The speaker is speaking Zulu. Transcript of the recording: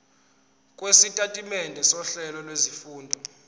lwesitatimende sohlelo lwezifundo